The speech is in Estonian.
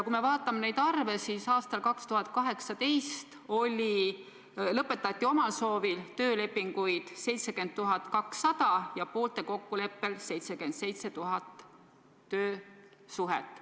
Kui me vaatame neid arve, siis aastal 2018 lõpetati omal soovil töölepinguid 70 200 ja poolte kokkuleppel 77 000 töösuhet.